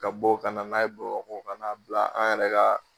Ka bɔ kana n'a ye Bamakɔ kan'a bila an yɛrɛ ka